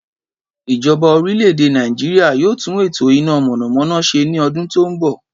Ìjoba orílè-èdè Nàìjíríà yóò tún ètò iná mònàmóná se ni odún tó n bò